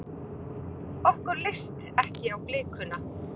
Okkur leist ekki á blikuna.